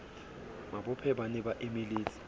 mabophe ba ne ba emeletse